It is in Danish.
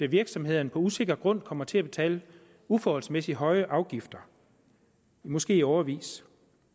virksomhederne på usikker grund kommer til at betale uforholdsmæssig høje afgifter måske i årevis